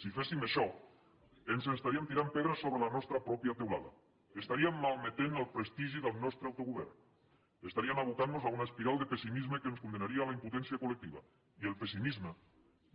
si féssim això ens estaríem tirant pedres sobre la nostra pròpia teulada estaríem malmetent el prestigi del nostre autogovern estaríem abocant nos a una espiral de pessimisme que ens condemnaria a la impotència col·lectiva i el pessimisme